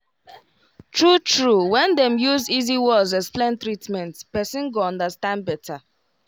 true true when dem use easy words explain treatment person go understand better